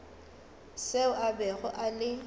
seo a bego a le